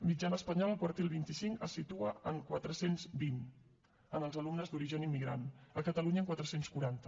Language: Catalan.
mitjana espanyola el quartil vint cinc es situa en quatre cents i vint en els alumnes d’origen immigrant a catalunya en quatre cents i quaranta